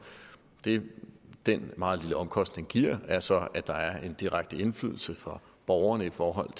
det den meget lille omkostning giver er så at der er en direkte indflydelse fra borgerne i forhold